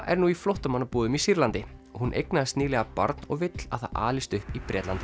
er nú í flóttamannabúðum í Sýrlandi hún eignaðist nýlega barn og vill að það alist upp í Bretlandi